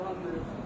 Salam verib.